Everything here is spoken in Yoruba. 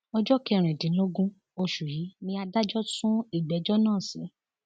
ọjọ kẹrìndínlógún oṣù yìí ni adájọ sún ìgbẹjọ náà sí